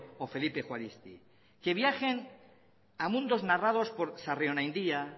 o felipe juaristi que viajen a mundos narrados por sarrionaindia